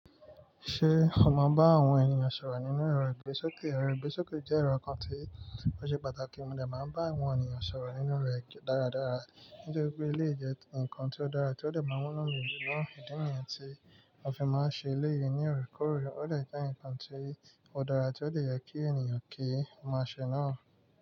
Ṣé o mọ bá àwọn ènìyàn sọ̀rọ̀ nínú èrò ìgbésókè? Èrò ìgbésókè jẹ́ èrò kan tí ó ṣe pàtàkì, mo dè máa bá àwọn ènìyàn sọ̀rọ̀ nínú rẹ̀ dáradára. Nítorí pé eléyí jẹ́ ǹkan tí ó dára tí ó dè máa mú inú mi dùn náà, ìdí nìyẹn tí a fi máa ń ṣe ilé yìí ní òrekóòrè, ó dé jẹ́ ǹkan tí ó dára tí ó dé yẹ kí ènìyàn kí ó mọ̀ ṣe náà.